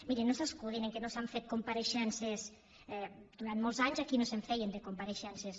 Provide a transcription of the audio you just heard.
miri no s’escudin en el fet que no s’han fet compareixences durant molts anys aquí no se’n feien de compareixences